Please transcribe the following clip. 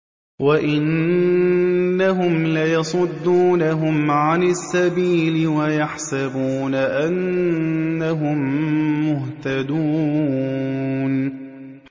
وَإِنَّهُمْ لَيَصُدُّونَهُمْ عَنِ السَّبِيلِ وَيَحْسَبُونَ أَنَّهُم مُّهْتَدُونَ